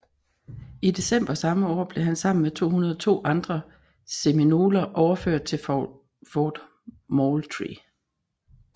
I december samme år blev han sammen med 202 andre seminoler overført til Fort Moultrie